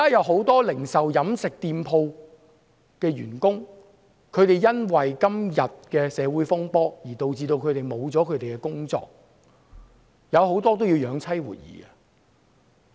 很多零售、飲食店鋪的員工因為現時的社會風波而導致失去工作，他們很多人還要養妻活兒。